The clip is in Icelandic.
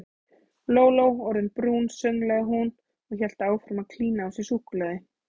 Lóló orðin brún sönglaði hún og hélt áfram að klína á sig súkkulaði.